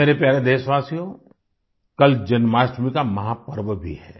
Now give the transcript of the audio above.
मेरे प्यारे देशवासियो कल जन्माष्टमी का महापर्व भी है